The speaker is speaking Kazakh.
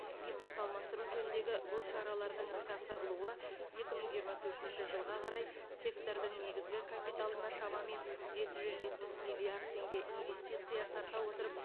импорт алмастыру жөніндегі бұл шаралардың іске асырылуы екі мың жиырма төртінші жылға қарай сектордың негізгі капиталына шамамен жеті жүз жетпіс миллиард теңге инвестиция тарта отырып